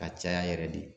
Ka caya yɛrɛ de